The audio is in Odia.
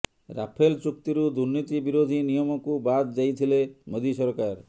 ରାଫେଲ ଚୁକ୍ତିରୁ ଦୁର୍ନୀତି ବିରୋଧୀ ନିୟମକୁ ବାଦ ଦେଇଥିଲେ ମୋଦି ସରକାର